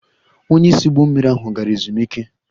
Onye isi ụgbọ mmiri ahụ gara ezumike